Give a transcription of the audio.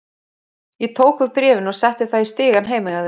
Ég tók við bréfinu og setti það í stigann heima hjá þér.